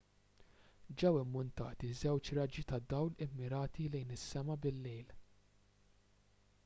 ġew immuntati żewġ raġġi ta' dawl immirati lejn is-sema bil-lejl